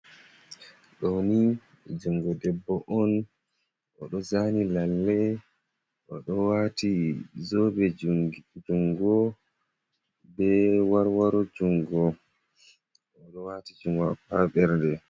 Ɗoni jungo debbo on oɗo zani lalle, oɗo wati zobe jungo, be warwaro jungo, oɗo wati jungo o ha ɓerde.